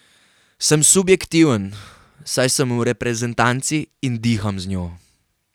Sem subjektiven, saj sem v reprezentanci in diham z njo.